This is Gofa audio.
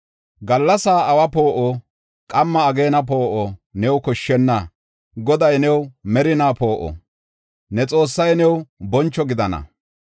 Gallas awa poo7o, qamma ageena poo7o new koshshenna; Goday new merinaa poo7o, ne Xoossay new boncho gidana.